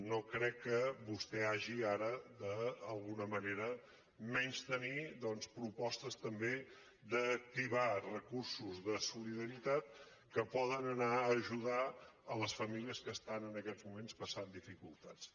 no crec que vostè hagi ara d’alguna manera de menystenir propostes també d’activar recursos de solidaritat que poden anar a ajudar les famílies que estan en aquests moments passant dificultats